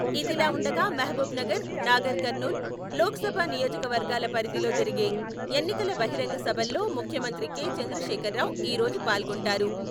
ఇదిలా ఉండగా మహబూబ్ నగర్, నాగర్కర్నూలు లోక్సభ నియోజకవర్గాల పరిధిలో జరిగే ఎన్నికల బహిరంగ సభల్లో ముఖ్యమంత్రి కె. చంద్రశేఖరరావు ఈరోజు పాల్గొంటారు.